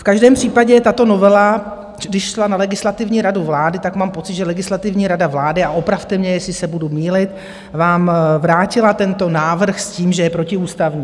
V každém případě tato novela, když šla na Legislativní radu vlády, tak mám pocit, že Legislativní rada vlády, a opravte mě, jestli se budu mýlit, vám vrátila tento návrh s tím, že je protiústavní.